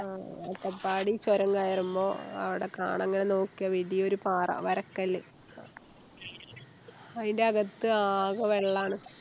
ആഹ് അട്ടപ്പാടി ചൊരം കയറുമ്പോ അവിടെ കാണാ ഇങ്ങനെ നോക്കിയാ വലിയൊരു പാറ വരക്കല്ല് അയിൻറെകത്ത് ആകെ വെള്ളാണ്